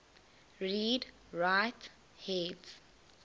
read write heads